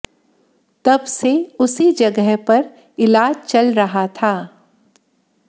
तब से उसी जगह पर इलाज चल रहा था